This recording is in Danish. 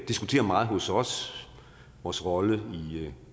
diskuterer meget hos os vores rolle